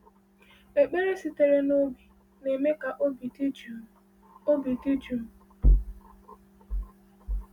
Ekpere sitere n’obi na-eme ka obi dị jụụ. obi dị jụụ.